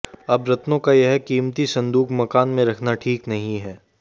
अब रत्नों का यह कीमती संदूक मकान में रखना ठीक नहीं है